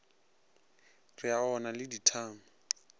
re o na le dithama